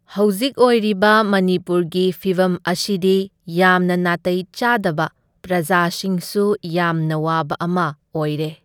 ꯍꯧꯖꯤꯛ ꯑꯣꯏꯔꯤꯕ ꯃꯅꯤꯄꯨꯔꯒꯤ ꯐꯤꯚꯝ ꯑꯁꯤꯗꯤ ꯌꯥꯝꯅ ꯅꯥꯇꯩ ꯆꯥꯗꯕ, ꯄ꯭ꯔꯖꯥꯁꯤꯡꯁꯨ ꯌꯥꯝꯅ ꯋꯥꯕ ꯑꯃ ꯑꯣꯢꯔꯦ꯫